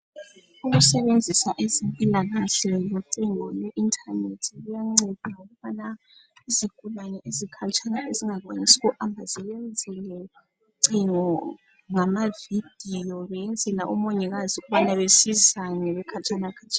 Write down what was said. Ukusebenzisa abezempilakahle ngocingo lweinternet kuyanceda ukuba izigulane ezikhatshana ezingakwanise ukuya esibhedlela bengayenzelwa amavidiyo beyenzela omongikazi ukuba besizane bekhatshana